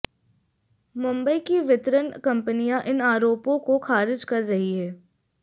मुंबई की वितरण कंपनियां इन आरोपों को खारिज कर रही हैं